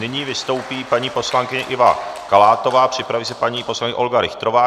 Nyní vystoupí paní poslankyně Iva Kalátová, připraví se paní poslankyně Olga Richterová.